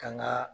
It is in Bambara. Kan ga